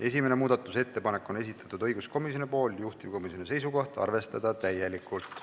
Esimese muudatusettepaneku on esitanud õiguskomisjon, juhtivkomisjoni seisukoht: arvestada täielikult.